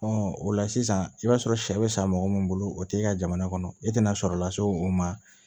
o la sisan i b'a sɔrɔ sɛ bɛ sa mɔgɔ min bolo o t'e ka jamana kɔnɔ e tɛna sɔrɔ lase o ma